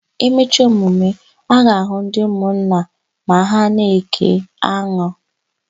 E mecha emume, a ga-àhụ́ ndị ụmụnna ma ha na-ékè anụ.